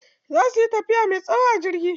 Za suyi tafiya me tsawo a jirgi.